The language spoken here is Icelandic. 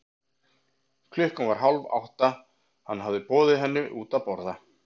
Klukkan var hálf átta, hann hafði boðið henni henni út að borða.